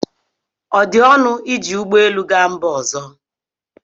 ọ dị ọnụ iji ụgbọ elu gaa mba ọzọ?